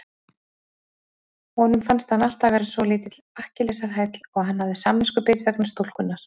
Honum fannst hann alltaf vera svolítill Akkilesarhæll og hann hafði samviskubit vegna stúlkunnar.